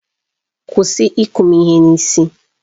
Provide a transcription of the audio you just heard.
Kwụsị ịkụ m ihe n'isi!